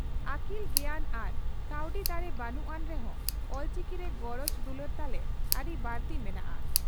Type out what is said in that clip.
ᱟᱹᱠᱤᱞ ᱜᱮᱭᱟᱱ ᱟᱨ ᱠᱟᱹᱣᱰᱤ ᱫᱟᱲᱮ ᱵᱟᱹᱱᱩᱜ ᱟᱱ ᱨᱮᱦᱚᱸ ᱚᱞᱪᱤᱠᱤ ᱨᱮ ᱜᱚᱨᱚᱡᱽ ᱫᱩᱞᱟᱹᱲ ᱛᱟᱞᱮ ᱟᱹᱰᱤ ᱵᱟᱹᱲᱛᱤ ᱢᱮᱱᱟᱜᱼᱟ ᱾